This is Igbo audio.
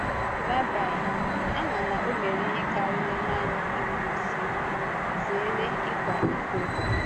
Rịba ama na ọ mere ihe kàrịrị nanị ikwu, sị, “Zèrè ị̀kwa íkò.”